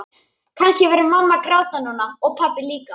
Kannski væri mamma að gráta núna og pabbi líka.